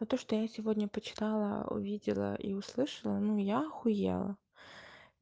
но то что я сегодня почитала увидела и услышала ну я ахуела